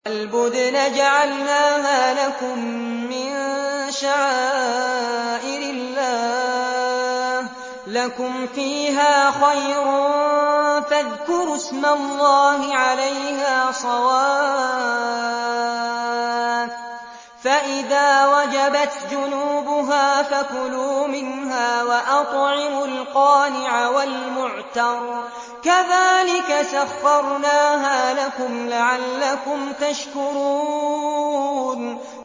وَالْبُدْنَ جَعَلْنَاهَا لَكُم مِّن شَعَائِرِ اللَّهِ لَكُمْ فِيهَا خَيْرٌ ۖ فَاذْكُرُوا اسْمَ اللَّهِ عَلَيْهَا صَوَافَّ ۖ فَإِذَا وَجَبَتْ جُنُوبُهَا فَكُلُوا مِنْهَا وَأَطْعِمُوا الْقَانِعَ وَالْمُعْتَرَّ ۚ كَذَٰلِكَ سَخَّرْنَاهَا لَكُمْ لَعَلَّكُمْ تَشْكُرُونَ